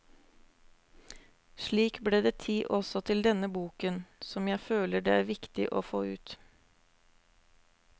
Slik ble det tid også til denne boken, som jeg føler det er viktig å få ut.